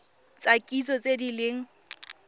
tsa kitso tse di leng